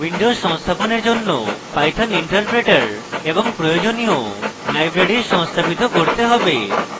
windows সংস্থাপনের জন্য python interpreter এবং প্রয়োজনীয় libraries সংস্থাপিত করতে হবে